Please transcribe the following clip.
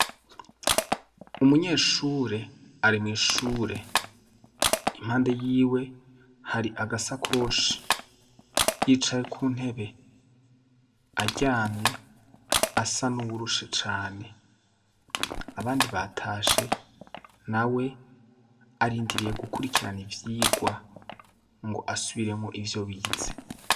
Umunyeshure arimwishure impande yiwe hari agasa koshi yicaye ku ntebe aryamye asa n'uwurushe cane abandi batashe na we arindiriye gukurikirana ivyigwa ngo asubiremo ivyo bize.